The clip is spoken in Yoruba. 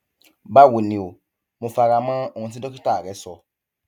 báwo ni o mo fara mọ ohun tí dókítà rẹ sọ